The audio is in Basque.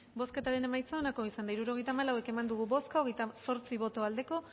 bozketaren emaitza onako izan da hirurogeita hamalau eman dugu bozka hogeita zortzi boto aldekoa